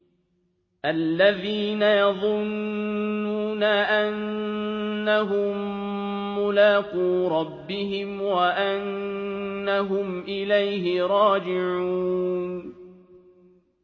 الَّذِينَ يَظُنُّونَ أَنَّهُم مُّلَاقُو رَبِّهِمْ وَأَنَّهُمْ إِلَيْهِ رَاجِعُونَ